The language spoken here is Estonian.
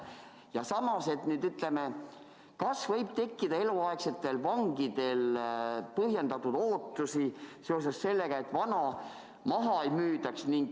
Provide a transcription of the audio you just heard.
Ja samas, kas eluaegsetel vangidel võib tekkida põhjendatud ootusi, et vana hoonet maha ei müüdaks?